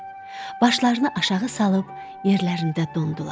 Başlarını aşağı salıb yerlərində dondular.